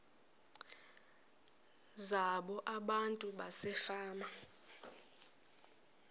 zabo abantu basefama